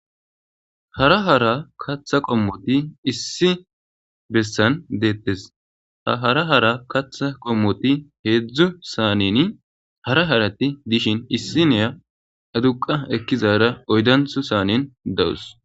Hara hara katha qommoti issi bolla detese ha hara hara katha qommoti hezhzhu saneni dishin issiniya aduqa ekizarin oydantho saneni dawus